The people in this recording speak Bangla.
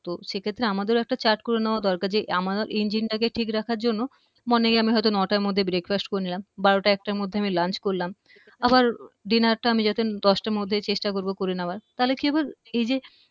তো সেক্ষেত্রে আমাদেরও একটা chart করে নেওয়া দরকার যে আমাদের engine টাকে ঠিক রাখার জন্য morning হয়তো আমরা নয়টার মধ্যে breakfast করে নিলাম বারো একটার মধ্যে আমি lunch করলাম আবার আহ dinner টা আমি যাতে চেষ্টা করবো দশটার মধ্যে করে নেওয়ার তাহলে কি হবে এই যে